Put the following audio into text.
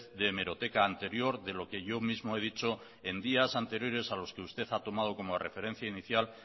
de hemeroteca anterior de lo que yo mismo he dicho en días anteriores a los que usted ha tomado como referencia inicial